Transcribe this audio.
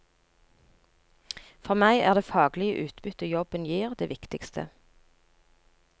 For meg er det faglige utbyttet jobben gir det viktigste.